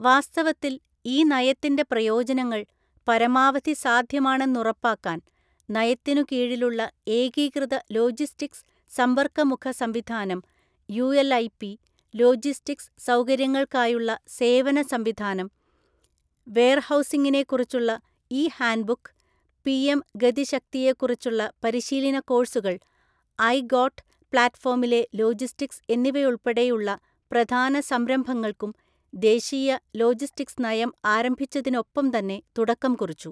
വാസ്തവത്തിൽ, ഈ നയത്തിന്റെ പ്രയോജനങ്ങൾ പരമാവധി സാധ്യമാണെന്നുറപ്പാക്കാൻ, നയത്തിനുകീഴിലുള്ള ഏകീകൃത ലോജിസ്റ്റിക്സ് സമ്പർക്കമുഖ സംവിധാനം യുഎൽഐപി, ലോജിസ്റ്റിക്സ് സൗകര്യങ്ങൾക്കായുള്ള സേവനസംവിധാനം, വെയർഹൗസിങ്ങിനെക്കുറിച്ചുള്ള ഇ ഹാൻഡ്ബുക്ക്, പിഎം ഗതിശക്തിയെക്കുറിച്ചുള്ള പരിശീലന കോഴ്സുകൾ, ഐ ഗോട്ട് പ്ലാറ്റ്ഫോമിലെ ലോജിസ്റ്റിക്സ് എന്നിവയുൾപ്പെടെയുള്ള പ്രധാന സംരംഭങ്ങൾക്കും ദേശീയ ലോജിസ്റ്റിക്സ് നയം ആരംഭിച്ചതിനൊപ്പംതന്നെ തുടക്കംകുറിച്ചു.